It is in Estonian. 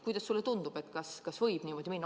Kuidas sulle tundub, kas võib niimoodi minna?